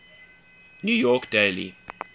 new york daily